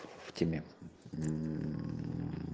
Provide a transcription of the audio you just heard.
в тебе ммм